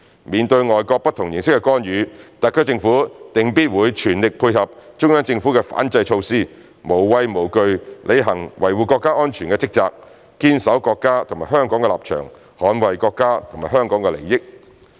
面對外國不同形式的干預，特區政府定必會全力配合中央政府的反制措施，無畏無懼履行維護國家安全的職責，堅守國家及香港的立場，捍衞國家及香港的利益。